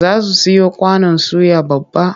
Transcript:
Za su siyo kwanon suya babba.